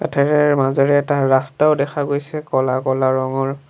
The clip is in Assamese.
মাজেৰে এটা ৰাষ্টাও দেখা গৈছে ক'লা ক'লা ৰঙৰ।